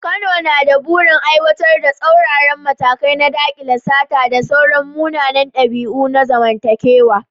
Kano na da burin aiwatar da tsauraran matakai na dakile sata da sauran munanan dabi’u na zamantakewa.